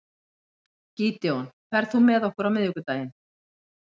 Gídeon, ferð þú með okkur á miðvikudaginn?